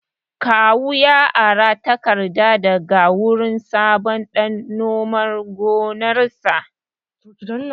Kawu ya ara tarakta daga wurin Sabo dan nomar gonarsa